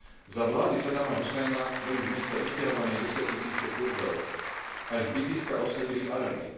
Za vlády Saddáma Husajna boli z mesta vysťahované desiatky tisíce Kurdov a ich bydliská obsadili Arabi.